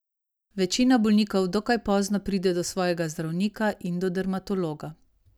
Večina bolnikov dokaj pozno pride do svojega zdravnika in do dermatologa.